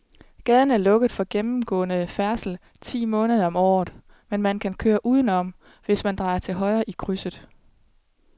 Gaden er lukket for gennemgående færdsel ti måneder om året, men man kan køre udenom, hvis man drejer til højre i krydset.